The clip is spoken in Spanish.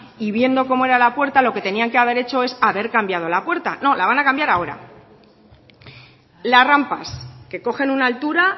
y viendo cómo era la puerta lo que tenían que haber hecho es haber cambiado la puerta no la van a cambiar ahora las rampas que cogen una altura